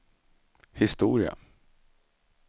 historia